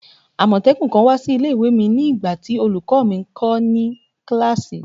Amotekun kan wa si ile-iwe mi nigbati olukọ mi nkọ ni kilasi